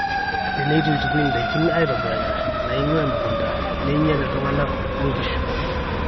teneitu eitukui ndaiki aitobirakin naingua emukunta neinyal iltungana o nkishu